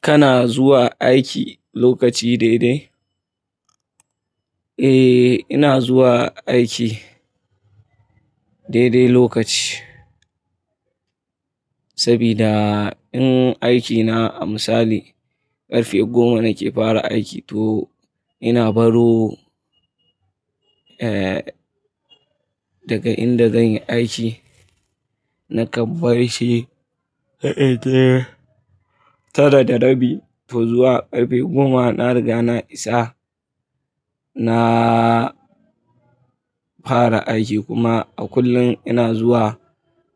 Kana zuwa aiki lokaci daidai? Eh, ina zuwa aiki daidai lokaci. Sabida in aikina a misali karfe goma nake fara aiki to ina baro, eh, daga inda zanyi aiki na kam barci, eh, tara da rabi. To zuwa ƙarfe goma na riga na isa na fara aiki kuma a kullum ina zuwa